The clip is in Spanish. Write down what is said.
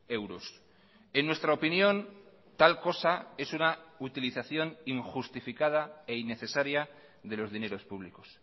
euros en nuestra opinión tal cosa es una utilización injustificada e innecesaria de los dineros públicos